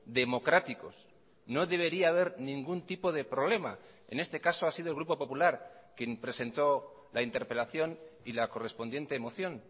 democráticos no debería haber ningún tipo de problema en este caso ha sido el grupo popular quien presentó la interpelación y la correspondiente moción